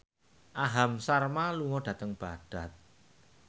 Aham Sharma lunga dhateng Baghdad